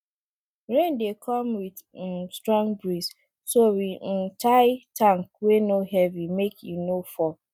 rain dey come with um strong breeze so we um tie tank wey no heavy make e no fall